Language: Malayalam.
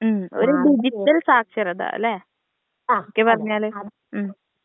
ഉം ഒരു ഡിജിറ്റൽ സാക്ഷരത ല്ലെ ചുരുക്കി പറഞ്ഞാല് ഉം.